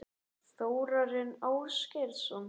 Þórarinn Ásgeirsson?